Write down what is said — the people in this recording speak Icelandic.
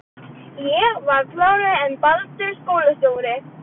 Ég var klárari en Baldur skólastjóri.